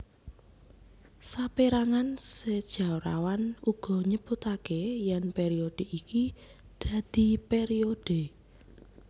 Saperangan sejarawan uga nyebutake yen periode iki dadi periode